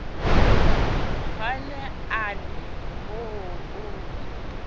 hona a ri hoo hoo